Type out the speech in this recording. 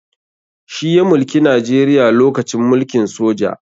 Shi ya mulki najeriya lokacin mulkin soja